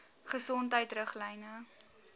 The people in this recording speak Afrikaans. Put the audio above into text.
gesondheidriglyne